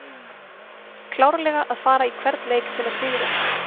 Klárlega að fara í hvern leik til að sigra!